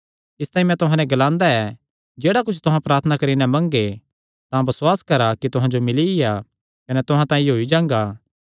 इसतांई मैं तुहां नैं ग्लांदा कि जेह्ड़ा कुच्छ तुहां प्रार्थना करी नैं मंगगे तां बसुआस करा कि तुहां जो मिलिया कने तुहां तांई होई जांगा